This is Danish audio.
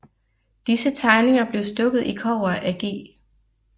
Disse tegninger blev stukket i kobber af G